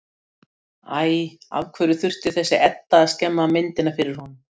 Helgi hefur þó brátt gleðitíðindi.